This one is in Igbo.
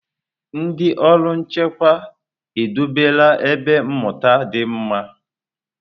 Ndị ọrụ nchekwa edobela ebe mmụta dị mma.